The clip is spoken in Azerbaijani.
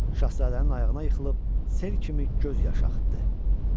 Şahzadənin ayağına yıxılıb sel kimi göz yaş axıtdı.